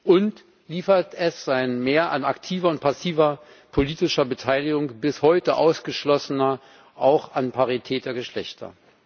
Und liefert es ein Mehr an aktiver und passiver politischer Beteiligung bis heute Ausgeschlossener, auch an Parität der Geschlechter?